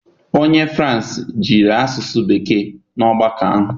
Onye France jiri asụsụ bekee na ọgbakọ ahụ.